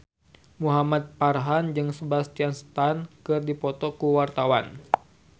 Muhamad Farhan jeung Sebastian Stan keur dipoto ku wartawan